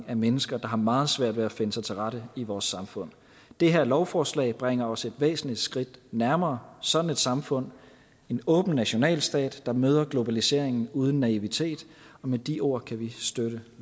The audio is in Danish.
af mennesker der har meget svært ved at finde sig til rette i vores samfund det her lovforslag bringer os et væsentligt skridt nærmere sådan et samfund en åben nationalstat der møder globaliseringen uden naivitet med de ord kan vi støtte